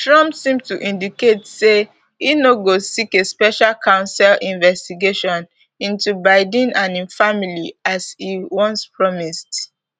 trump seemed to indicate say e no go seek a special counsel investigation into biden and im family as e once promised